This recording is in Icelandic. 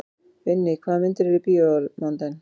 Vinný, hvaða myndir eru í bíó á mánudaginn?